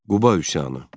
Quba üsyanı.